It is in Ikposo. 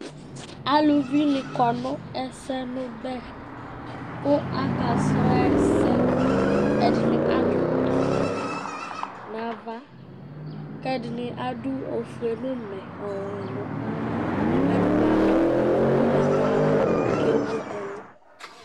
Aluvinɩ kɔ nʋ ɛsɛmʋbɛ kʋ akasrɔ ɛsɛ Ɛdɩnɩ adʋ awʋwɛ nʋ ava kʋ ɛdɩnɩ adʋ ofue nʋ ʋmɛ ɔwɛ nʋ ava kʋ ɛdɩnɩ adʋ ʋgbatawla kʋ ewu ɛlʋ